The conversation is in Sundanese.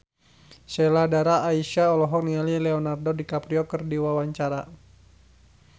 Sheila Dara Aisha olohok ningali Leonardo DiCaprio keur diwawancara